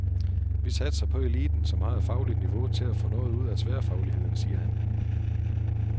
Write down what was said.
Vi satser på eliten, som har et fagligt niveau, til at få noget ud af tværfagligheden, siger han.